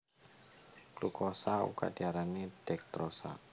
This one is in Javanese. Glukosa uga diarani dekstrosa